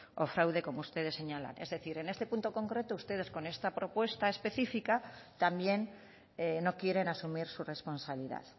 o fraude como ustedes señalan es decir en este punto concreto ustedes con esta propuesta específica también no quieren asumir su responsabilidad